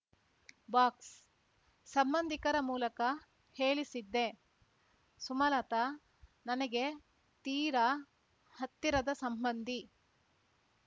box ಸಂಬಂಧಿಕರ ಮೂಲಕ ಹೇಳಿಸಿದ್ದೆ ಸುಮಲತಾ ನನಗೆ ತೀರಾ ಹತ್ತಿರದ ಸಂಬಂಧಿ